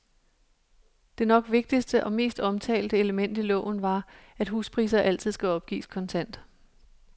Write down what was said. Det nok vigtigste, og mest omtalte, element i loven var, at huspriser altid skal opgives kontant.